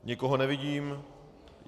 Nikoho nevidím.